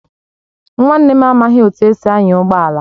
Nwanne m amaghị etu esi anya ụgbọ ala